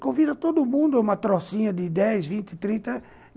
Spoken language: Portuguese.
Convida todo mundo uma trocinha de dez, vinte, trinta...